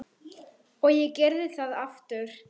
Og ég gerði það aftur.